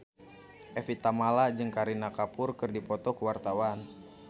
Evie Tamala jeung Kareena Kapoor keur dipoto ku wartawan